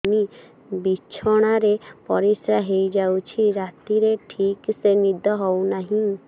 ବିଛଣା ରେ ପରିଶ୍ରା ହେଇ ଯାଉଛି ରାତିରେ ଠିକ ସେ ନିଦ ହେଉନାହିଁ